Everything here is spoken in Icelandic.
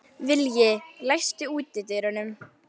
Vilji, læstu útidyrunum.